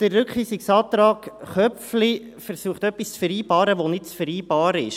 Der Rückweisungsantrag Köpfli versucht etwas zu vereinbaren, das nicht zu vereinbaren ist.